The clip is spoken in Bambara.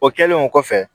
O kɛlen o kɔfɛ